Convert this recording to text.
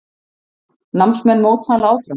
Námsmenn mótmæla áfram